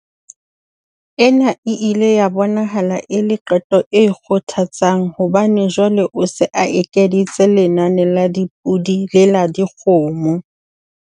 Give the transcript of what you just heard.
Ena e ile ya bonahala e le qeto e kgothatsang hobane jwale o se a ekeditse lenane la dipodi le la dikgomo.